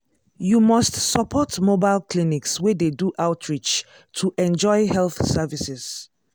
you must support mobile clinics wey dey do outreach to enjoy health services.